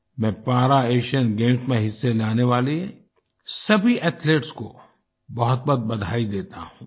मैं para Asian games में हिस्सा लेने वाले सभी एथलीट्स को बहुतबहुत बधाई देता हूँ